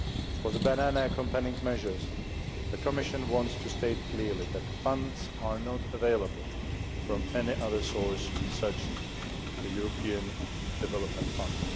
For the Banana Accompanying Measures, the Commission wants to state clearly that funds are not available from any other source, such as the European Development Fund.